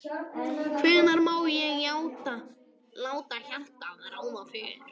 Hvenær má ég láta hjartað ráða för?